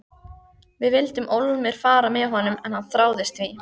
Við vildum ólmir fara með honum en hann þráaðist við.